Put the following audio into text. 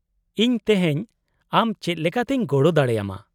-ᱤᱧ ᱛᱤᱦᱮᱧ ᱟᱢ ᱪᱮᱫ ᱞᱮᱠᱟᱛᱮᱧ ᱜᱚᱲᱚ ᱫᱟᱲᱮᱭᱟᱢᱟ ?